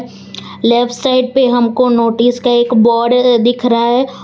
Left side पे हमको notice का एक बोर्ड दिख रहा है।